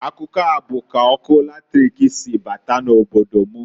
Akụkọ a bụ k'ọkụ latrik si bata na obodo m.